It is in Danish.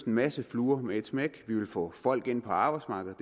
en masse fluer med ét smæk vi ville få folk ind på arbejdsmarkedet